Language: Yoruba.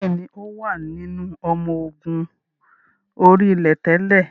Bẹ́ẹ̀ni, ó wà nínú ọmọ ogun orí-ilẹ̀ tẹ́lẹ̀